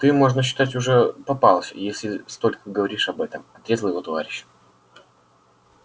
ты можно считать уже попался если столько говоришь об этом отрезал его товарищ